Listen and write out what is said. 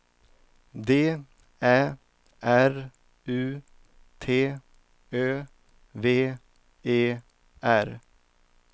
D Ä R U T Ö V E R